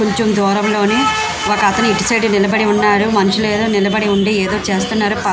కొంచెం దూరం లోని ఇకతను ఇటు సైడ్ నిలబడి ఉన్నాడు. మనుషులు నిలబడి ఉండి ఏదో చేస్తున్నారు.